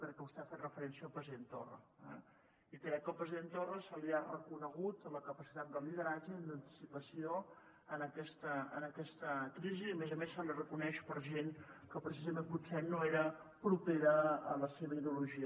perquè vostè ha fet referència al president torra eh i crec que al president torra se li ha reconegut la capacitat de lideratge i d’anticipació en aquesta crisi i a més a més se li reconeix per gent que precisament potser no era propera a la seva ideologia